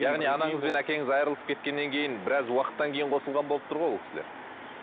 яғни анаңыз бен әкеңіз айырылысып кеткеннен кейін біраз уақыттан кейін қосылған болып тұр ғой ол кісілер